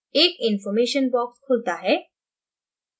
एक information box खुलता है